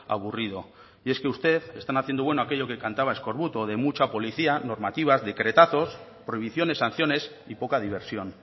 aburrido y es que usted están haciendo bueno aquello que cantaba eskorbuto de mucha policía normativas decretazos prohibiciones sanciones y poca diversión